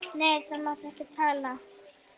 Nei, þú mátt ekki tala.